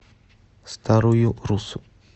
старую руссу